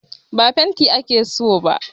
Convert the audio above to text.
Ba fenti ake so ba